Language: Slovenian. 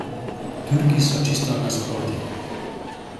Turki so čisto nasprotje.